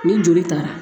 Ni joli taara